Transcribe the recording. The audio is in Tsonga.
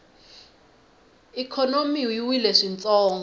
ikhonomi yi wile swintsongo